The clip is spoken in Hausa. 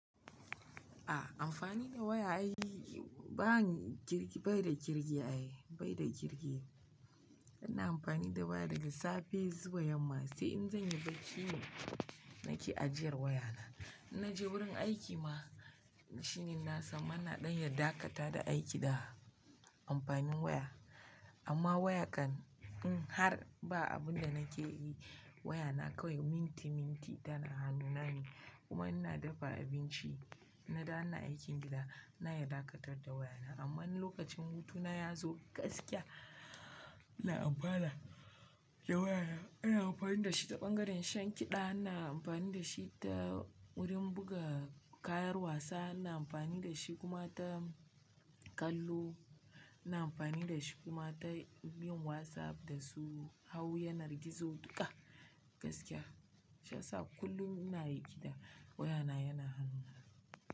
Ah amfani da waya ai, ba kirki, bai da kirki ai, bai da kirki. Ina amfani da waya daga safe zuwa yamma sai in zanyi bacci ne nake ajiyar wayana. Idan na je wurin aiki ma shine na samu ina ɗan ya dakata da aiki da amfanin waya. Amma waya kam in har ba abun da nake yi wayana kawai minti minti tana hanuna ne. Kuma idan ina dafa abinci idan na dawo ina aikin gida ina iya dakatar da wayana. Amma idan lokacin hutuna yazo gaskiya ina amfana da wayana. Ina amfani da shi ta ɓangaren shan kiɗa, ina amfani da shi ta wurin buga kayan wasa, ina amfani da shi kuma ta kallo, ina amfani dashi kuma ta yin Whatsapp dasu hau yanar gizo duka gaskiya shiyasa kullum ina riƙe da, wayana yana hannuna.